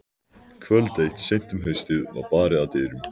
Kvöld eitt seint um haustið var barið að dyrum.